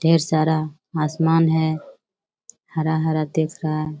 ढेर सारा आसमान है। हरा-हरा दिख रहा है।